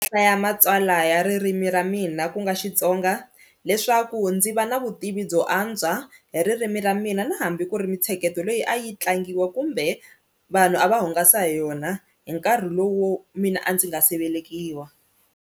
Hlaya matsalwa ya ririmi ra mina ku nga Xitsonga leswaku ndzi va na vutivi byo antswa hi ririmi ra mina na hambi ku ri mintsheketo leyi a yi tlangiwa kumbe vanhu a va hungasa hi yona hi nkarhi lowo mina a ndzi nga se velekiwa.